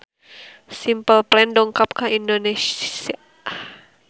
Simple Plan dongkap ka Indonesia